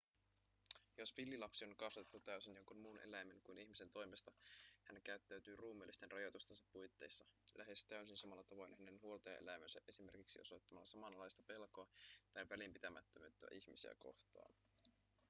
jos villilapsi on kasvatettu täysin jonkin muun eläimen kuin ihmisen toimesta hän käyttäytyy ruumiillisten rajoitustensa puitteissa lähes täysin samalla tavoin hänen huoltajaeläimensä esimerkiksi osoittamalla samanlaista pelkoa tai välinpitämättömyyttä ihmisiä kohtaan